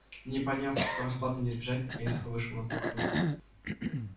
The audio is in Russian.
но поняв что расплаты не избежать наконец вышел на кухню